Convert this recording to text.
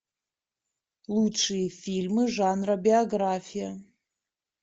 лучшие фильмы жанра биография